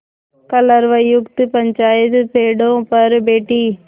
कलरवयुक्त पंचायत पेड़ों पर बैठी